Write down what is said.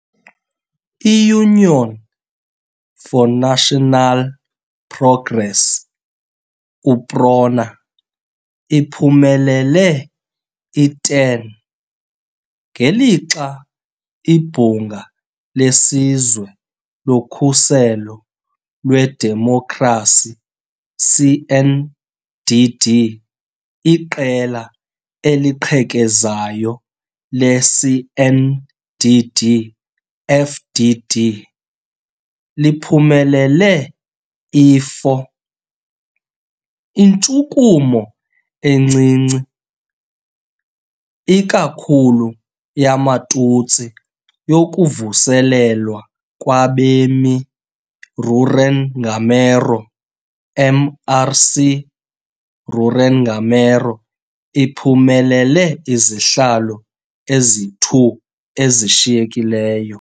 I-Union for National Progress, UPRONA, iphumelele i-10, ngelixa iBhunga leSizwe loKhuselo lweDemokhrasi, CNDD, iqela eliqhekezayo le-CNDD-FDD, liphumelele i-4. Intshukumo encinci, ikakhulu yamaTutsi yokuVuselelwa kwabemi-Rurenngamero, MRC-Rurenngamero, iphumelele izihlalo ezi-2 ezishiyekileyo.